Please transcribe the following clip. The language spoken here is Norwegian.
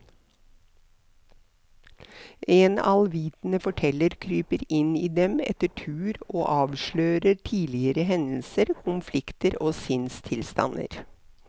En allvitende forteller kryper inn i dem etter tur og avslører tidligere hendelser, konflikter og sinnstilstander.